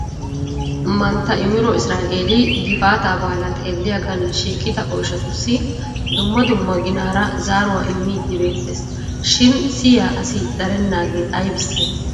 Mantta Imiro Isra''elli gifaata baala xeelliyaagan shiiqida oyshshatuus dumma dumma ginaara zaaruwaa immidi beettees shin siyiyya asi darenaaage aybbise ?